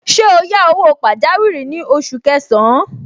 Ṣé o yá owó pajawiri ní oṣù kẹsàn-án?